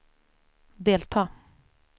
delta